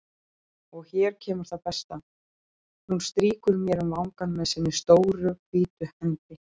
Og hér kemur það besta: Hún strýkur mér um vangann með sinni stóru hvítu hendi.